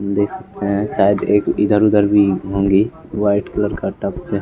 देख सकते हैं शायद एक इधर उधर भी होंगी व्हाइट कलर का टॉप पे--